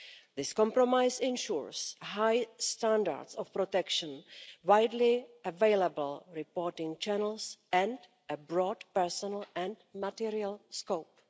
This compromise ensures high standards of protection, widely available reporting channels and a broad, personal and material scope.